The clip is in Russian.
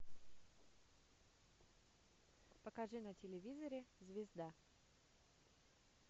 покажи на телевизоре звезда